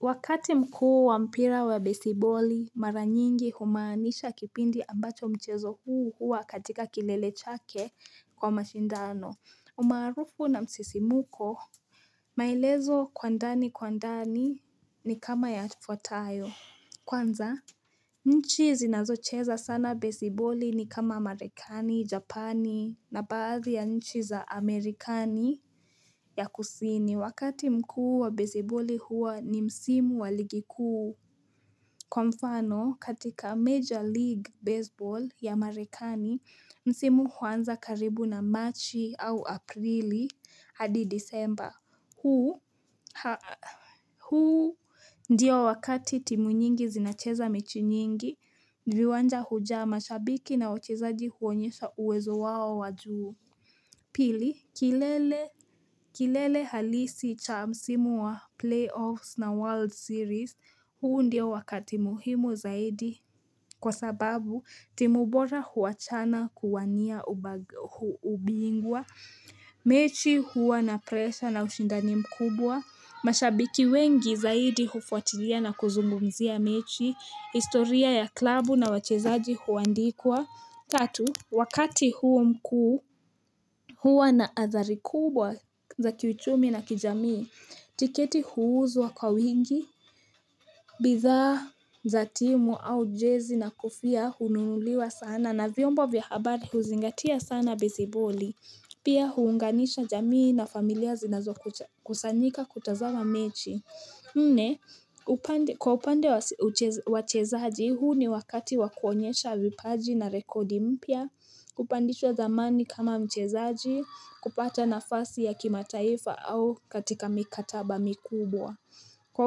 Wakati mkuu wa mpira wa besiboli mara nyingi humaanisha kipindi ambacho mchezo huu huwa katika kilele chake kwa mashindano umaarufu na msisimuko maelezo kwa ndani kwa ndani ni kama yafuatayo kwanza nchi zinazocheza sana besiboli ni kama Merikani, Japani na baadhi ya nchi za Amerikani ya kusini. Wakati mkuu wa besiboli huwa ni msimu waligi kuu. Kwa mfano, katika Major League Baseball ya Amerikani, msimu huanza karibu na Marchi au Aprili hadi December. Huu ndo wakati timu nyingi zinacheza mechi nyingi viwanja hujaa shabiki na wachezaji kuonyesha uwezo wao wajuu pili kilele halisi cha msimu wa play offs na world series huu ndio wakati muhimu zaidi kwa sababu timu bora huachana kuwania ubingwa mechi huwa na pressure na ushindani mkubwa. Mashabiki wengi zaidi hufuatilia na kuzungumzia mechi, historia ya klabu na wachezaji huandikwa. Tatu, wakati huo mkuu huwa na athari kubwa za kiuchumi na kijamii. Tiketi huuzwa kwa wingi bidhaa za timu au jezi na kufia hunuliwa sana na vyomba vya habari huzingatia sana besiboli Pia huunganisha jamii na familia zinazokusanyika kutazama mechi. Nne, kwa upande wachezaji huu ni wakati wa kuonyesha vipaji na rekodi mpya, kupandishwa dhamani kama mchezaji, kupata nafasi ya kimataifa au katika mikataba mikubwa. Kwa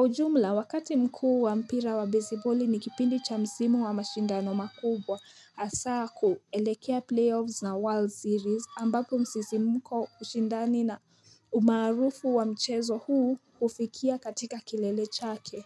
ujumla, wakati mkuu wa mpira wa basiboli ni kipindi cha msimu wa mashindano makubwa hasa koelekea play-offs na world series ambapo msisimko ushindani na umaarufu wa mchezo huu ufikia katika kilele chake.